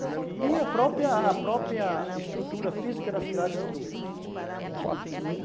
E a própria a própria estrutura física da cidade mudou